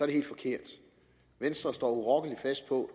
det helt forkert venstre står urokkelig fast på